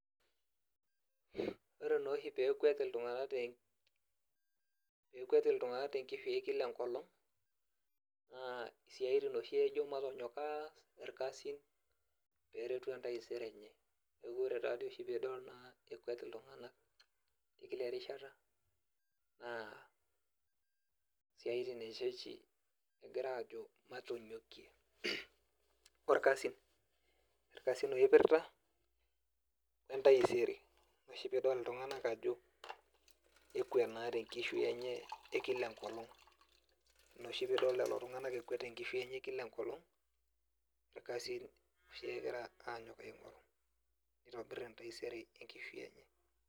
ore nooshi peekwet iltung'anak te peekwet iltung'anak te kifii kila enkolong naa siatin oshi ejo matonyok aas ilkasin peeretu entaisere enye. neeku ore taadoi oshi piidol naa ekwet iltung'anak kila erishata naa siaitin enche oshi ejo matonyokie orkasin ilkasin ooiprta we ntaisere, ina oshi piidol iltunganak ajo ekwet naa te nkishui enye e kila enkolong, ina oshi piidol lelo tung'anak ekwet tenkishui enye e kila enkolong , ilkasin oshi egira aanyok aing'oru pee eitobir entaisere enkishui enye.